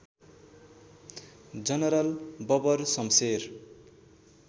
general Babar Shamsher